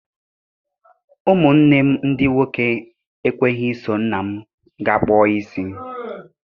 Ụmụ nne m ndị nwoke ekweghị i so nna m gaa kpụọ isi.